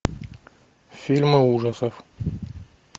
фильмы ужасов